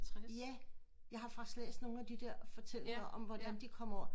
Ja jeg har faktisk læst nogle af de der fortællinger om hvordan de kom over